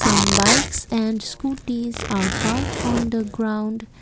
some bikes and scooties are parked on the ground.